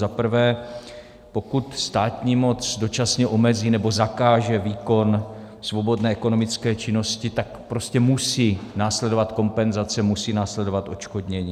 Za prvé, pokud státní moc dočasně omezí nebo zakáže výkon svobodné ekonomické činnosti, tak prostě musí následovat kompenzace, musí následovat odškodnění.